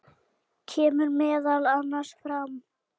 kemur meðal annars fram